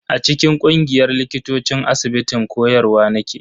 A cikin ƙungiyar likitocin asibitin koyarwa nake.